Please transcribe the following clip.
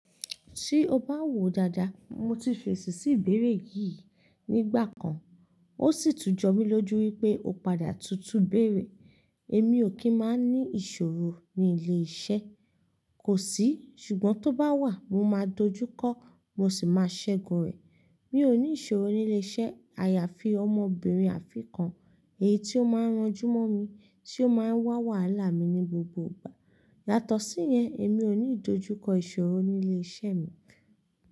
Tí o bá wòó dáadáa, mo ti fèsì sí ìbéèrè yìí nígbà kan, ó sì tún jọ mí lójú wípé o padà tutù béèrè. Èmi ò kí máa ń ní ìṣòro ní ilé iṣẹ́, kò sí, ṣùgbọ́n tó bá wà, mo máa dojúkọ, mo sì máa ṣẹ́gun rẹ̀. Mi ò ní ìṣòro ní ilé iṣẹ́ àyàfi ọmọbìnrin afin kan, èyí tí ó máa ń ranjú mọ́ mi, tí ó máa ń wá wàhálà mi ní gbogbo ìgbà. Yàtọ̀ sí yẹn èmi ò ní ìdojúkọ ìṣòro ní ilé iṣẹ́ mi.